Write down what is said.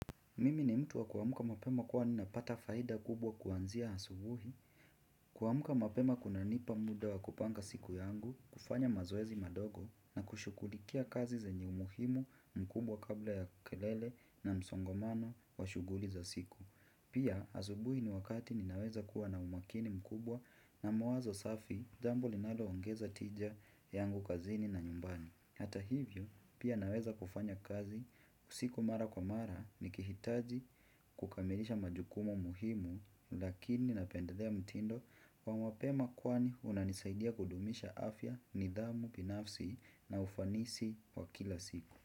Mimi ni mtu wa kuamka mapema kuwa ninapata faida kubwa kuanzia asubuhi, kuamka mapema kunanipa muda wa kupanga siku yangu, kufanya mazoezi madogo na kushughulikia kazi zenye umuhimu mkubwa kabla ya kelele na msongomano wa shughuli za siku. Pia asubuhi ni wakati ninaweza kuwa na umakini mkubwa na mawazo safi jambo linaloongeza tija yangu kazini na nyumbani. Hata hivyo pia naweza kufanya kazi usiku mara kwa mara nikihitaji kukamilisha majukumu muhimu lakini napendelea mtindo wa mapema kwani unanisaidia kudumisha afya, nidhamu binafsi na ufanisi wa kila siku.